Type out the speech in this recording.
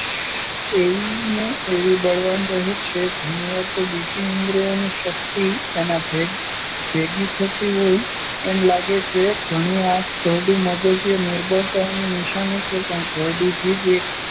એવી ને એવી બળવાન રહે છે. ઘણી વાર તો બીજી ઇન્દ્રિયોની શક્તિ એનામાં ભેગી થતી હોય એમ લાગે છે. ઘરડી આંખ, ઘરડું મગજ-એ નિર્બળતાની નિશાની છે પણ ઘરડી જીભ એ